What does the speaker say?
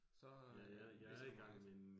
Så. Ikke så meget